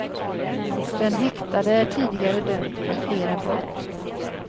Den häktade är tidigare dömd för flera brott.